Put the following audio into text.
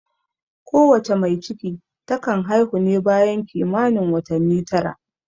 Ko wace mai ciki ta kan haihu ne bayan kimanin watanni tara